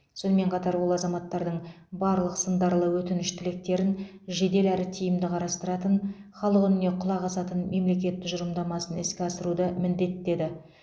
сонымен қатар ол азаматтардың барлық сындарлы өтініш тілектерін жедел әрі тиімді қарастыратын халық үніне құлақ асатын мемлекет тұжырымдамасын іске асыруды міндеттеді